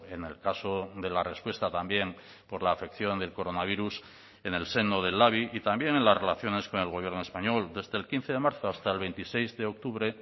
en el caso de la respuesta también por la afección del coronavirus en el seno del labi y también en las relaciones con el gobierno español desde el quince de marzo hasta el veintiséis de octubre